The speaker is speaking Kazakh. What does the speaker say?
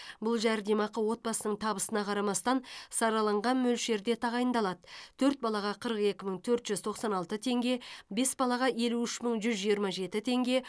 бұл жәрдемақы отбасының табысына қарамастан сараланған мөлшерде тағайындалады төрт балаға қырық екі мың төрт жүз тоқсан алты теңге бес балаға елу үш мың жүз жиырма жеті теңге